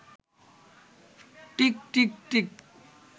tick টিক্ tick